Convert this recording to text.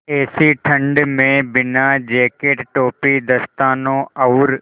ऐसी ठण्ड में बिना जेकेट टोपी दस्तानों और